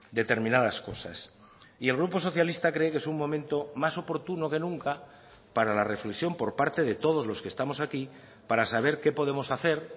determinadas cosas y el grupo socialista cree que es un momento más oportuno que nunca para la reflexión por parte de todos los que estamos aquí para saber qué podemos hacer